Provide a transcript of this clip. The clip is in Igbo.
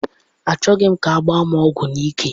Achọghị m ka agbaa m ọgwụ n'ike.